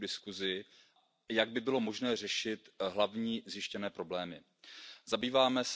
Imágenes ridículas que todos hemos visto, como estas frutas individualmente empaquetadas en plástico, tienen que terminar ya.